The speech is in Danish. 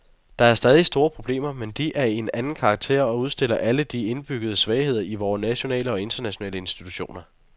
Der er stadig store problemer, men de er af en anden karakter og udstiller alle de indbyggede svagheder i vore nationale og internationale institutioner.